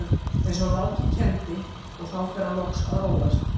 eins og Láki kenndi, og þá fer hann loks að róast.